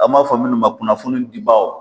An b'a fɔ minnu ma kunnafoni dibaaw.